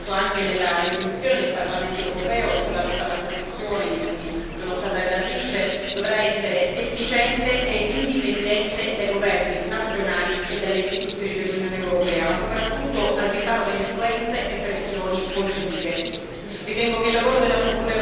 La procura, come sottolineato anche nella risoluzione del Parlamento europeo sulla lotta alla corruzione, di cui sono stata relatrice, dovrà essere efficiente e indipendente dai governi nazionali e dalle istituzioni dell'Unione europea, ma soprattutto al riparo da influenze e pressioni politiche.